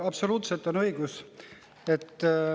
Absoluutselt õigus.